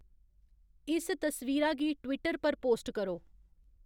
इस तस्वीरा गी ट्विटर पर पोस्ट करो